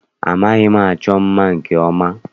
Amaghị m achọ mma nke ọma.